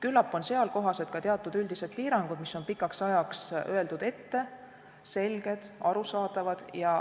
Küllap on seal kohased ka teatud üldised piirangud, mis on pikaks ajaks ette öeldud, selged, arusaadavad.